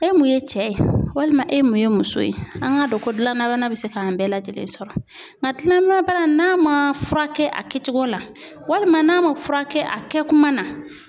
E mun ye cɛ ye, walima e mun ye muso ye, an k'a dɔn ko dilanabana bɛ se k'an bɛɛ lajɛlen sɔrɔ. N ka dilanabana n'a ma furakɛ a kɛcogo la walima n'a ma furakɛ a kɛ kuma na